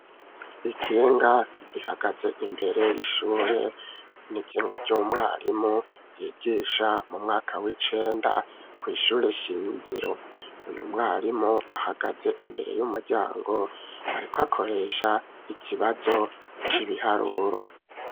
Ikinga, rihagaze imbere y'ishure; ni ikinga ry'umwarimu, yigisha mu mwaka w'icenda, kw'ishure shingiro; uyu mwarimu, ahagaze imbere y'umuryango, ariko akoresha, ikibazo c'ibiharuro.